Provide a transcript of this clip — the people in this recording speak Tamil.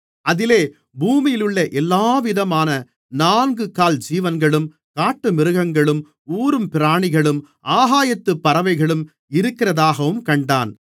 அதிலே பூமியிலுள்ள எல்லாவிதமான நான்குகால் ஜீவன்களும் காட்டுமிருகங்களும் ஊரும் பிராணிகளும் ஆகாயத்துப் பறவைகளும் இருக்கிறதாகவும் கண்டான்